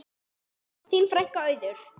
Þín frænka, Auður.